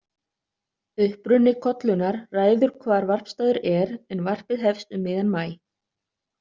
Uppruni kollunnar ræður hvar varpstaður er, en varpið hefst um miðjan maí.